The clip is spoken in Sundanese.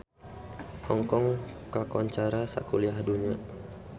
Hong Kong kakoncara sakuliah dunya